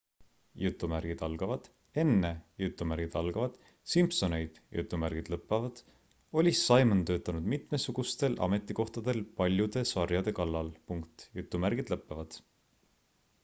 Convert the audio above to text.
"enne "simpsoneid" oli simon töötanud mitmesugustel ametikohtadel paljude sarjade kallal.